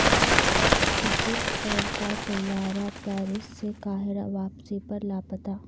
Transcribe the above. Egypt Air کا طیارہ Paris سے قاہرہ واپسی پر لاپتہ